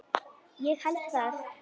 Ég held það.